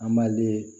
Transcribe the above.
An b'a len